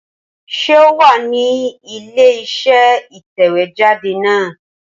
Ṣé o wà ní ilé iṣẹ́ ìtẹ̀wéjáde náà?